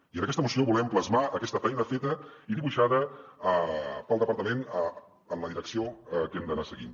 i en aquesta moció volem plasmar aquesta feina feta i dibuixada pel departament en la direcció que hem d’anar seguint